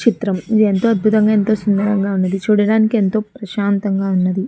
ఈ చిత్రం ఎంతో అందంగా వున్నది. సుందరంగా వున్నది. చూడడానికి ఎంతో ప్రసంతగా వున్నది.